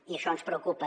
i això ens preocupa